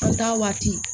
U ta waati